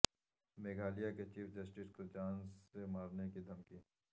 میگھالیہ کے chief justice کو جان سے مارنے کی دھمکی